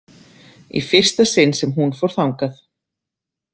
Í fyrsta sinn sem hún fór þangað.